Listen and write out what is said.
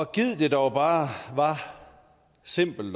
gid det dog bare var simpelt